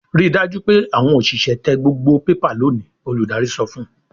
"Ri dájú pé àwọn òṣìṣẹ́ tẹ gbogbo pépà lónìí!" Olùdarí sọ fún un.